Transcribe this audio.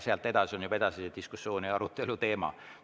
Sealt edasi tehtav on juba edasise diskussiooni ja arutelu teema.